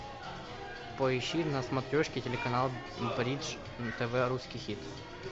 поищи на смотрешке телеканал бридж тв русский хит